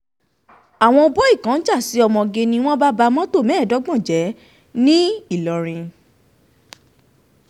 àwọn bọ́ì ń jà sí ọmọge kan ni wọ́n bá ba mọ́tò mẹ́ẹ̀ẹ́dọ́gbọ̀n jẹ́ ńìlọrin